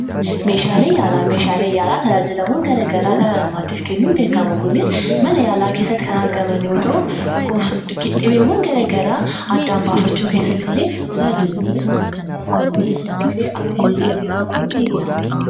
Meeshaalee yaalaa: Meeshaaleen yaalaa tajaajilawwan gara garaa dhala namaatiif kennuun beekamu. Kunis mana yaalaa keessatti kan argaman yoo ta'u, dhibeewwan gara garaa addaan baafachuu keessatti illee ni hojjetu. Kunis dhukkubsataan tokko dafee akka inni dhibee isaa baru ni godha.